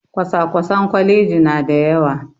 Kwasa-kwasen kwalaji na da yawa